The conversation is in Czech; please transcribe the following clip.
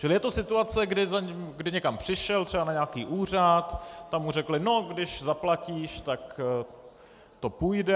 Čili je to situace, kdy někam přišel, třeba na nějaký úřad, tam mu řekli: No když zaplatíš, tak to půjde.